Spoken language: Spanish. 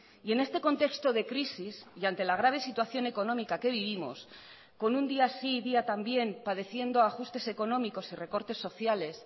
y en este contexto de crisis y ante la grave situación económica que vivimos con un día sí y día también padeciendo ajustes económicos y recortes sociales